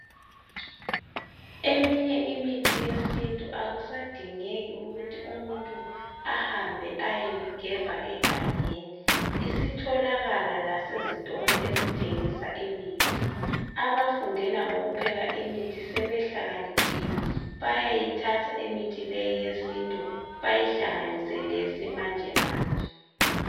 Eminye imithi yesintu akusadingeki ukuthi umuntu ahambe ayoyigebha egangeni ,isitholakala lasezitolo ezithengisa imithi. Abafundela ngokupheka imithi sebehlakaniphile bayayithatha imithi leyi yesintu bayihlanganise leyesimanjemanje.